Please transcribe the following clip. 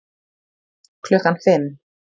Klukkan fimm